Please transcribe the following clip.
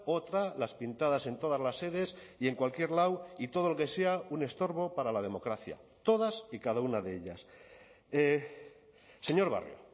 otra las pintadas en todas las sedes y en cualquier lado y todo lo que sea un estorbo para la democracia todas y cada una de ellas señor barrio